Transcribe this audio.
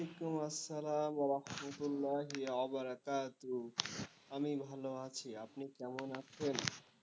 ওয়ালাইকুম আসসালাম ওয়ারাহমাতুল্লাহি বারাকাতুহ আমি ভালো আছি, আপনি কেমন আছেন?